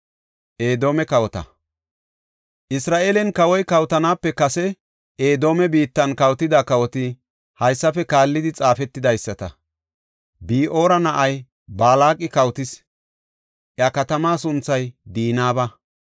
Isra7eelen kawoy kawotanaape kase Edoome biittan kawotida kawoti haysafe kaallidi xaafetidaysata. Bi7oora na7ay Balaaqi kawotis; iya katamaa sunthay Dinaaba.